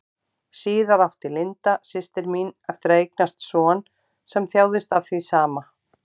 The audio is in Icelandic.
Síðar átti Linda, systir mín, eftir að eignast son sem þjáðist af því sama.